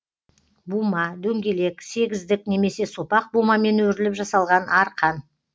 бума дөңгелек сегіздік немесе сопақ бумамен өріліп жасалған арқан